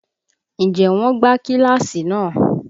Ǹjẹ́ wọn gbá kíláàsì náà?